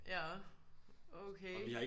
Ja okay